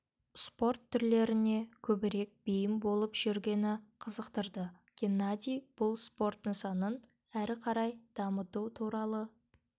спорт түрлеріне көбірек бейім болып жүргені қызықтырды геннадий бұл спорт нысанын әрі қарай дамыту туралы